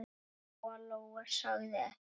Lóa-Lóa sagði ekkert.